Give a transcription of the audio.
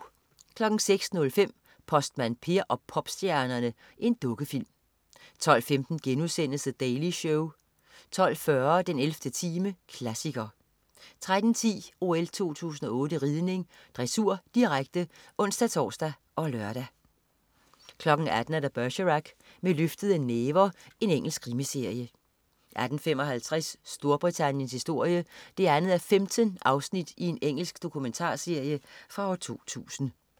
06.05 Postmand Per og popstjernerne. Dukkefilm 12.15 The Daily Show* 12.40 den 11. time, klassiker 13.10 OL 2008 ridning: Dressur, direkte (ons-tors og lør) 18.00 Bergerac: Med løftede næver. Engelsk krimiserie 18.55 Storbritanniens historie. 2:15. Engelsk dokumentarserie fra 2000